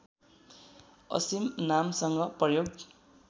असिम नामसँग प्रयोग